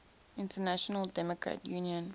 international democrat union